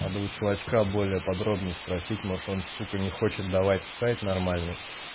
надо у чувачка более подробнее спросить может он сука не хочет давать сайт нормальный